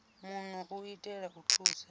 muno u itela u thusa